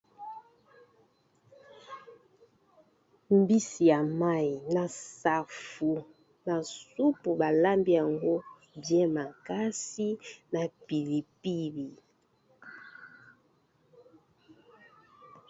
Mbisi ya mayi na safu na supu balambi yango bien makasi na pilipili.